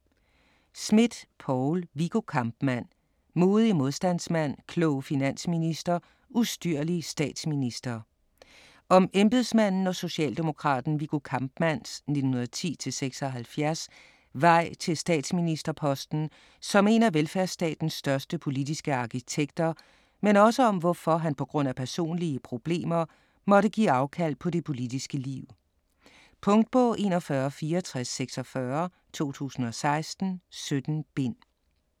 Smidt, Poul: Viggo Kampmann: modig modstandsmand, klog finansminister, ustyrlig statsminister Om embedsmanden og socialdemokraten Viggo Kampmanns (1910-1976) vej til statsministerposten som en af velfærdsstatens største politiske arkitekter, men også om hvorfor han pga. personlige problemer måtte give afkald på det politiske liv. Punktbog 416446 2016. 17 bind.